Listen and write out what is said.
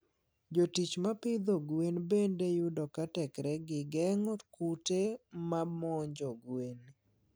Jotich ma pidho gwen bende yudo ka teknegi geng'o kute ma monjo gwen.